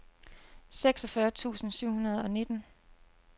seksogfyrre tusind syv hundrede og nitten